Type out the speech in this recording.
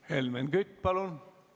Helmen Kütt, palun!